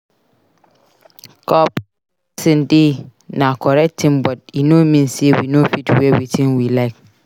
Corporate dressing dey na correct thing but e no mean sey we no fit wear wetin we like.